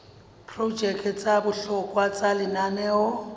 diprojeke tsa bohlokwa tsa lenaneo